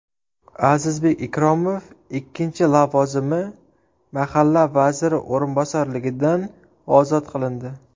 Azizbek Ikromov ikkinchi lavozimi mahalla vaziri o‘rinbosarligidan ozod qilindi.